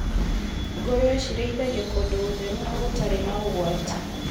Ngũrũwe cirarĩithio kũndũ gũtheru na gũtarĩ na ũgwati.